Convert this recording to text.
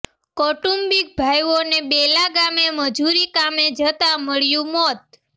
કૌટુંબિક ભાઈઓને બેલા ગામે મજૂરી કામે જતાં મળ્યું મોત